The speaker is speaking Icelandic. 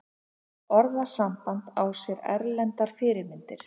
Orðasambandið á sér erlendar fyrirmyndir.